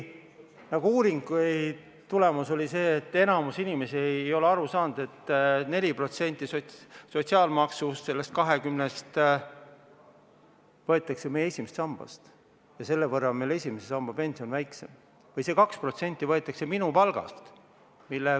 Uuringu tulemus oli see, et enamik inimesi ei ole aru saanud, et 4% sotsiaalmaksust, sellest 20%-st, võetakse meie esimesest sambast ja selle võrra on meil esimese samba pension väiksem, või et see 2% võetakse meie palgast .